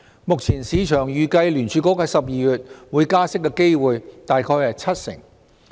目前市場預計聯儲局在12月會加息的機會大概為七成。